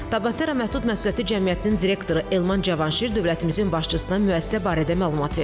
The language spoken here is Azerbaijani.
Tabatera məhdud məsuliyyətli cəmiyyətinin direktoru Elman Cavanşir dövlətimizin başçısına müəssisə barədə məlumat verdi.